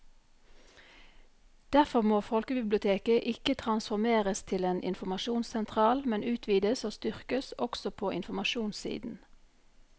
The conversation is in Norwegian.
Derfor må folkebiblioteket ikke transformeres til en informasjonssentral, men utvides og styrkes også på informasjonssiden.